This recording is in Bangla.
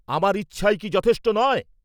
আমার ইচ্ছাই কি যথেষ্ট নয়?